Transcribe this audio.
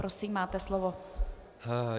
Prosím, máte slovo.